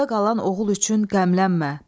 Ovda qalan oğul üçün qəmlənmə.